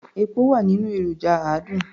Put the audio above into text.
Epo wà nínú èròjà àádùn.